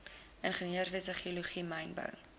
ingenieurswese geologie mynbou